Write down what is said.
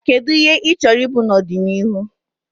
Kedu ihe ị chọrọ ịbụ n'ọdịnihu?